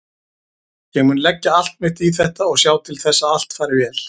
Ég mun leggja allt mitt í þetta og sjá til þess að allt fari vel.